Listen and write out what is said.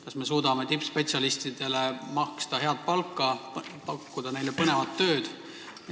Kas me suudame maksta tippspetsialistidele head palka ja pakkuda neile põnevat tööd?